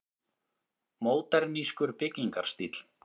Módernískur byggingarstíll.